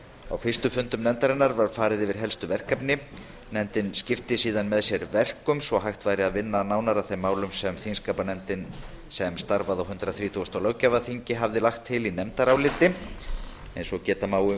á fyrstu fundum nefndarinnar var farið yfir helstu verkefni hennar nefndin skipti síðan fljótlega með sér verkum til að hægt væri að vinna að þeim málum sem þingskapanefndin sem starfaði á hundrað þrítugasta og níunda löggjafarþingi lagði til í nefndaráliti eins og